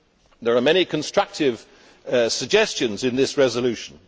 There are many constructive suggestions in this resolution.